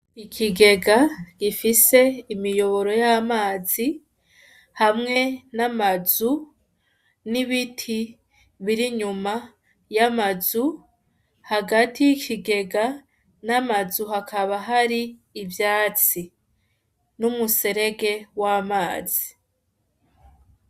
Ikigega gifise imiyoboro y'amazi hamwe n'amazu, n'ibiti biri inyuma y'amazu, hagati y'ikigega n'amazu hakaba hari ivyatsi, n'umuserege w'amazi.